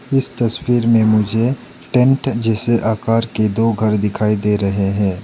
इस तस्वीर में मुझे टेंट जैसे आकार की दो घर दिखाई दे रहे हैं।